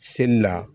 Seli la